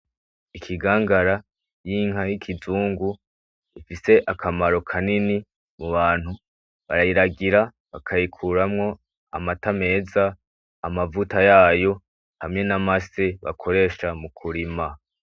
Ikigangara cinka y'ikizungu ifise akamaro kanini m'ubantu barayiragira bakayikuramwo amata meza, amavuta yayo hamwe namase bakoresha mukurima.